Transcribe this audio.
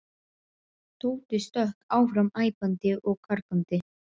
Tóti stökk fram æpandi og gargandi.